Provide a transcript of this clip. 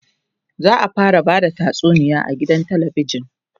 za'a fara Bada tatsuniya a gidan talabijan